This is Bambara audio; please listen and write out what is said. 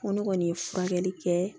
Ko ne kɔni ye furakɛli kɛ